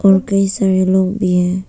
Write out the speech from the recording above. और कई सारे लोग भी है।